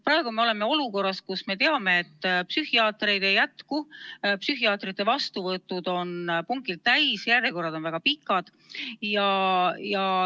Praegu me oleme olukorras, kus me teame, et psühhiaatreid ei jätku, psühhiaatrite vastuvõtud on pungil täis, järjekorrad on väga pikad.